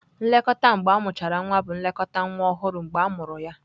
Nlekọta mgbe amụchara nwa bụ nlekọta nwa ọhụrụ mgbe amụrụ ya.